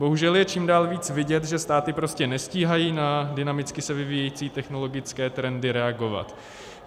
Bohužel je čím dál víc vidět, že státy prostě nestíhají na dynamicky se vyvíjející technologické trendy reagovat.